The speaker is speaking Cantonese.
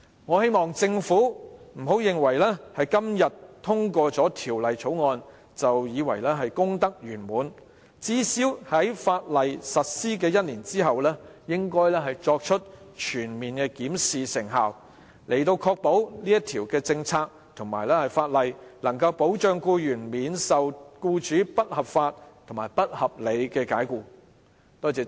我希望政府不要認為今天通過了《條例草案》便功德圓滿，而最少應在法例實施1年後全面檢視成效，確保這項政策及相關法例能保障僱員免遭僱主不合理及不合法解僱。